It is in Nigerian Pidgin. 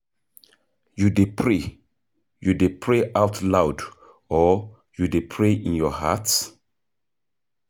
You dey pray You dey pray out loud or you dey pray in your heart?